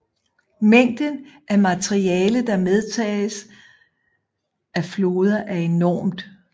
Mængden af materiale der medtages af floder er enormt